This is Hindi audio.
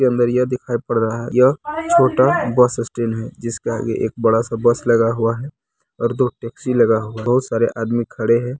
के अंदर यह दिखाई पड़ रहा है यह छोटा बस स्टैन्ड है जिसके आगे एक बड़ा सा बस लगा हुआ है और दो टेक्सी लगा हुआ है बहुत सारे आदमी खड़े हैं।